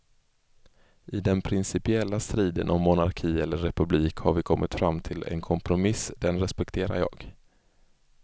I den principiella striden om monarki eller republik har vi kommit fram till en kompromiss, den respekterar jag.